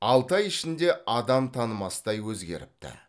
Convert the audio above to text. алты ай ішінде адам танымастай өзгеріпті